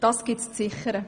Das gilt es zu sichern.